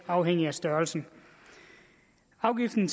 afhængig af størrelsen afgiften